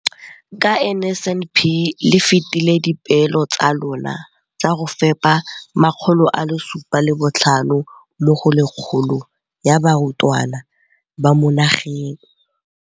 Ka NSNP le fetile dipeelo tsa lona tsa go fepa masome a supa le botlhano a diperesente ya barutwana ba mo nageng.